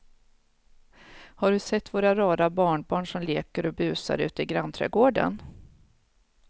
Har du sett våra rara barnbarn som leker och busar ute i grannträdgården!